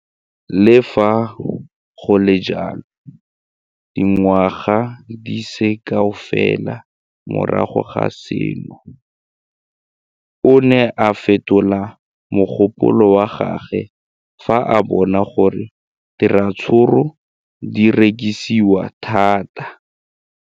Le fa go le jalo, dingwaga di se kae fela morago ga seno, o ne a fetola mogopolo wa gagwe fa a bona gore diratsuru di rekisiwa thata.